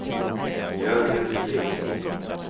Jörgen Blixt